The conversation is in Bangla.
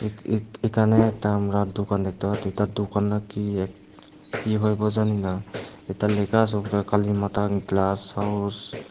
এখ এখানে একটা আমরা দোকান দেখতে পাচ্ছি তার দোকান না কি এক কি করব জানি না এতা লেখা আছে উপরে কালীমাতা গ্লাস হাউস ।